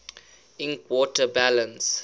ink water balance